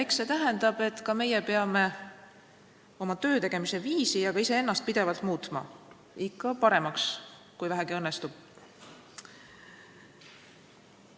Eks see tähenda, et meiegi peame oma töötegemise viisi ja ka iseennast pidevalt muutma, ikka paremaks, kui vähegi õnnestub.